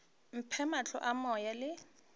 mphe mahlo a moya le